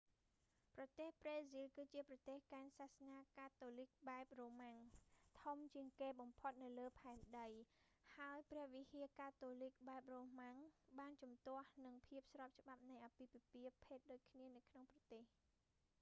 ប្រទេសប្រេស៊ីលគឺជាប្រទេសកាន់សាសនាកាតូលីកបែបរូម៉ាំង roman catholic ធំជាងគេបំផុតនៅលើផែនដីហើយព្រះវិហារកាតូលីកបែបរូម៉ាំង roman catholic បានជំទាស់នឹងភាពស្របច្បាប់នៃអាពាហ៍ពិពាហ៍ភេទដូចគ្នានៅក្នុងប្រទេស